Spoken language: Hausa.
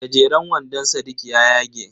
Gajeran wandon sadiq ya yage.